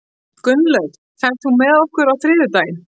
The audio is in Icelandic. Gunnlöð, ferð þú með okkur á þriðjudaginn?